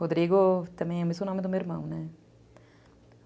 Rodrigo também é o mesmo nome do meu irmão, né?